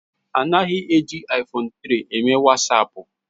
Anaghị eji iPhone 3 eme Wasapu na